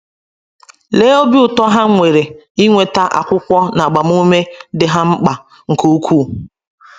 Lee obi ụtọ ha nwere inweta akwụkwọ na agbamume dị ha mkpa nke ukwuu!